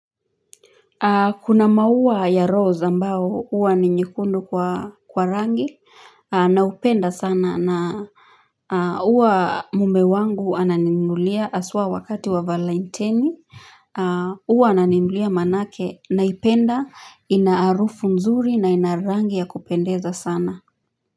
Kuna mauwa ya rose ambao uwa ni nyekundu kwa kwa rangi Naupenda sana na Uwa mume wangu ananinunulia aswa wakati wa valenteni Uwa ananimlulia manake naipenda inaarufu nzuri na inaarangi ya kupendeza sana.